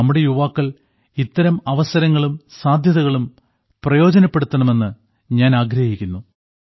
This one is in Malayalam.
നമ്മുടെ യുവാക്കൾ ഇത്തരം അവസരങ്ങളും സാധ്യതകളും പ്രയോജനപ്പെടുത്തണമെന്ന് ഞാൻ ആഗ്രഹിക്കുന്നു